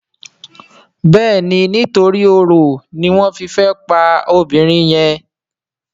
Béèni nítorí oro ní wón fè fí pá obìrin yen.